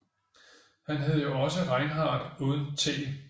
Han hed jo også Reinhard uden t